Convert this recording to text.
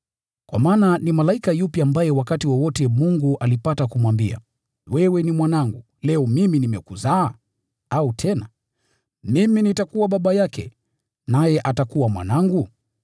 Kwa maana ni malaika yupi ambaye wakati wowote Mungu alipata kumwambia, “Wewe ni Mwanangu; leo mimi nimekuzaa?” Au tena, “Mimi nitakuwa Baba yake, naye atakuwa Mwanangu?”